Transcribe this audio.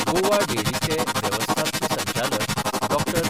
गोवा डेरीचे वेवस्थापकी संचालक डॉ.